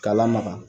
K'a lamaga